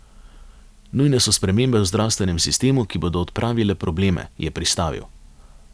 Nujne so spremembe v zdravstvenem sistemu, ki bodo odpravile probleme, je pristavil.